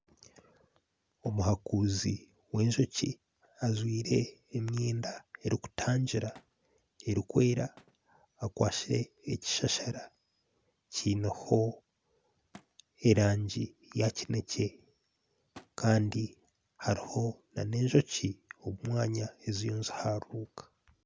Omuhakuuzi wenjoki ajwaire emyenda erikutangira erikwera akwatsire ekishashara kiineho erangi eya kinekye Kandi hariho nana enjoki omu mwanya eziriho niziharuka